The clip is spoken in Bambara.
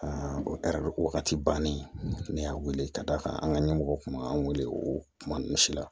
o wagati bannen ne y'a wele k'a d'a kan an ka ɲɛmɔgɔ kun b'an wele o kuma ninnu si la